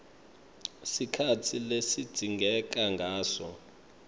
sikhatsi lesidzingeka ngaso